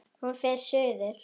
Hún fer suður.